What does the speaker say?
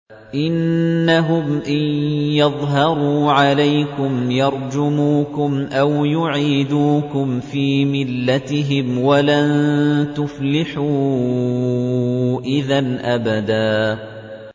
إِنَّهُمْ إِن يَظْهَرُوا عَلَيْكُمْ يَرْجُمُوكُمْ أَوْ يُعِيدُوكُمْ فِي مِلَّتِهِمْ وَلَن تُفْلِحُوا إِذًا أَبَدًا